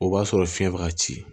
O b'a sɔrɔ fiyɛn bɛ ka ci